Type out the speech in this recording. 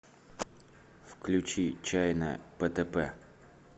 включи чайна птп